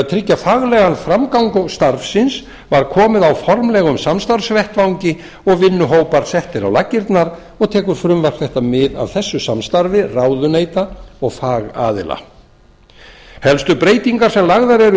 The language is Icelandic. tryggja faglegan framgang starfsins var komið á formlegum samstarfsvettvangi og vinnuhópar settir á laggirnar og tekur fruvmrasp þetta mið af þessu samstarfi ráðuneyta og fagaðila helstu breytingar sem lagðar eru